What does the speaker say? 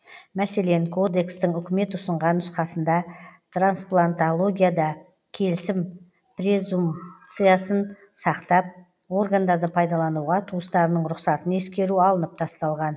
мәселен кодекстің үкімет ұсынған нұсқасында трансплантологияда келісім презумпциясын сақтап органдарды пайдалануға туыстарының рұқсатын ескеру алынып тасталған